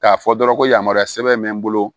K'a fɔ dɔrɔn ko yamaruya sɛbɛn bɛ n bolo